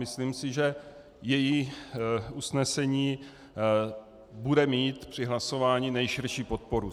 Myslím si, že její usnesení bude mít při hlasování nejširší podporu.